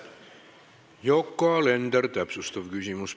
Yoko Alender, täpsustav küsimus.